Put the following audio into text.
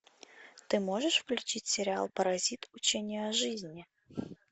ты можешь включить сериал паразит учение о жизни